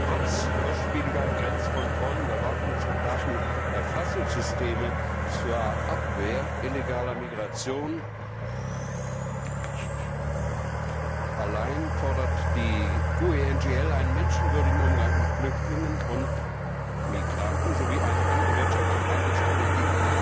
Trotz kostspieliger Grenzkontroll Überwachungs und Datenerfassungssysteme zur Abwehr illegaler Migration fordert die GUE NGL einen menschenwürdigen Umgang mit Flüchtlingen und Migranten sowie eine andere Wirtschafts und Handelspolitik